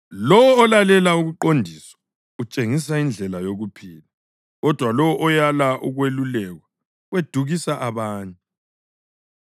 Lowo olalela ukuqondiswa utshengisa indlela yokuphila, kodwa lowo oyala ukwelulekwa wedukisa abanye.